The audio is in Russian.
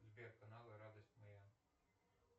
сбер каналы радость моя